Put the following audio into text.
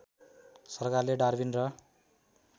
सरकारले डार्विन र